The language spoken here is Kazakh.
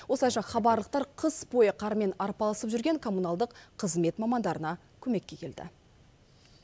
осылайша хабарлықтар қыс бойы қармен арпалысып жүрген коммуналдық қызмет мамандарына көмекке келді